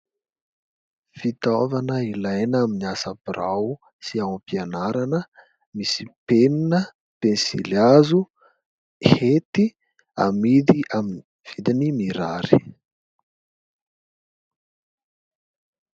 Fitaovana ilaina amin'ny asa birao sy ao am-pianarana. Misy penina, pensilihazo, hety. Amidy amin'ny vidiny mirary.